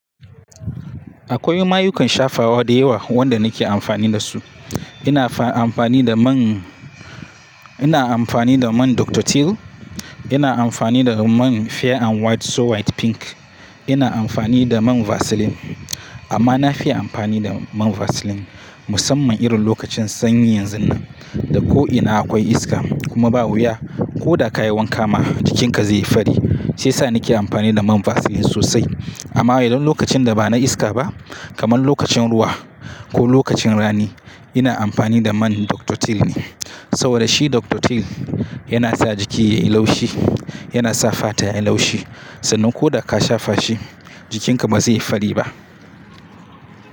Akwai mayukan shafawa da yawa wadda nake amfani da su. Ina amfani da man, ina amfani da man Doctotil, ina amfani da man Fair& White so White Pink, ina amfani da man Vaseline amma na fi amfani da man Vaseline musamman irin lokacin sanyi yanzun nan da ko'ina akwai iska kuma ba wuya ko da ka yi wanka ma jikinka zai yi fari. Sai sa nake amfani da man Vaseline sosai. Amma idan lokacin da ba na iska ba kamar lokacin ruwa ko lokacin rani ina amfani da man Doctotil ne. Saboda shi Doctotil yana sa jiki yayi laushi, yana sa fata yayi laushi. Sannan ko da ka shafa shi jikinka ba zai yi fari ba.